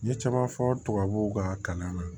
N ye caman fɔ tubabuw ka kalan na